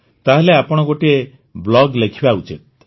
ତାହେଲେ ଆପଣ ଗୋଟିଏ ବ୍ଲଗ୍ ଲେଖିବା ଉଚିତ